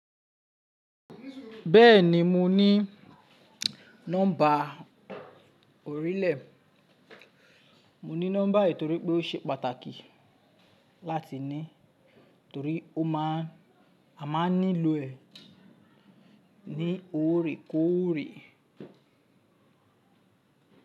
Bẹ́ẹ̀ni mo ní nọ́mbà orílẹ̀, mo ní nọ́mbà yìí torí pé ó ṣe pàtàkì láti ní, torí a máa ń nílò ẹ̀ ní òrékóòrè.